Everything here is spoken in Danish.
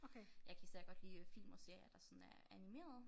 Jeg kan især godt lide øh film og serier der sådan er animerede